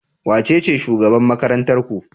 Wacece shugaban makarantar ku?